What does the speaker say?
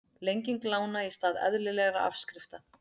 Lenging lána í stað eðlilegra afskrifta